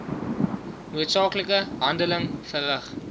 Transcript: noodsaaklike handeling verrig